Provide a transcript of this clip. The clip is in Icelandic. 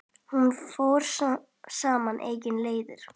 Hún fór sínar eigin leiðir.